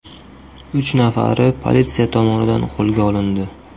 Uch nafari politsiya tomonidan qo‘lga olindi .